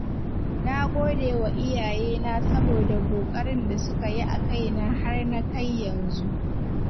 Na gode wa iyayena saboda ƙoƙarin da suka yi a kaina har na kai yanzu.